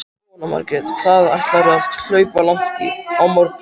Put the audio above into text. Jóhanna Margrét: Hvað ætlarðu að hlaupa langt á morgun?